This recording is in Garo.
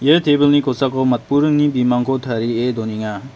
ia tebilni kosako matburingni bimangko tarie donenga.